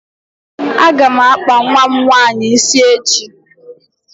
A ga m akpa nwa m nwaanyị ịsị echi